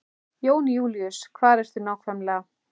Jón Júlíus, hvar ertu nákvæmlega?